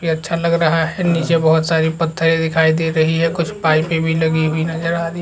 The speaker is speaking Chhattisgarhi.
ये अच्छा लग रहा है नीचे बहोत सारी पत्थरे दिखाई दे रही है कुछ पाइपें भी लगी हुई नज़र आ रही--